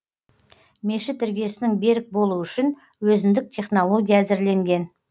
мешіт іргесінің берік болуы үшін өзіндік технология әзірленген